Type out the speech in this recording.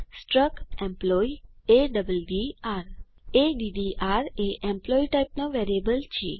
struct employee A D D R A D D R એ employee type નો variable છે